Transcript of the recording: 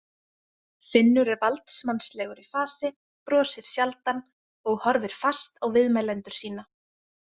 Finnur er valdsmannslegur í fasi, brosir sjaldan og horfir fast á viðmælendur sína.